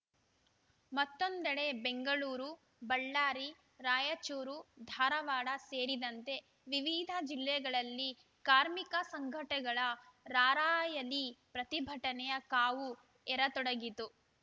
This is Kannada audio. ಮತ್ತೊಂದೆಡೆ ಬೆಂಗಳೂರು ಬಳ್ಳಾರಿ ರಾಯಚೂರು ಧಾರವಾಡ ಸೇರಿದಂತೆ ವಿವಿಧ ಜಿಲ್ಲೆಗಳಲ್ಲಿ ಕಾರ್ಮಿಕ ಸಂಘಟನೆಗಳ ರಾರ‍ಯಲಿ ಪ್ರತಿಭಟನೆಯ ಕಾವು ಎರತೊಡಗಿತು